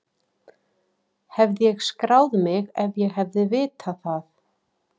Hefði ég skráð mig ef ég hefði vitað það?